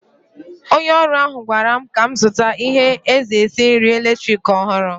Onye ọrụ ahụ gwara m ka m zụta ihe esi nri eletrik ọhụrụ.